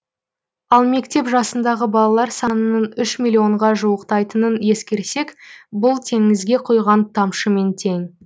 ал мектеп жасындағы балалар санының үш миллионға жуықтайтынын ескерсек бұл теңізге құйған тамшымен тең